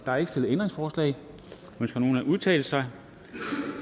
er ikke stillet ændringsforslag ønsker nogen at udtale sig